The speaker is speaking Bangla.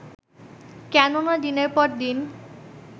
কেননা দিনের পর দিন